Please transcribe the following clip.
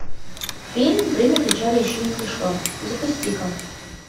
фильм время печали еще не пришло запусти ка